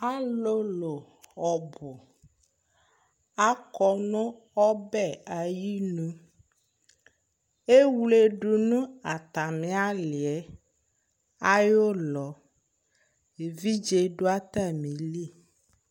Ɔlʋlʋ ɔbʋ akɔ nʋ ɔbɛ ayinu Ewledu nʋ atamɩ alɩ yɛ ayʋ ʋlɔ Evidze dʋ atamɩli